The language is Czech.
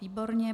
Výborně.